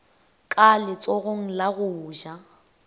ka letsogong la go ja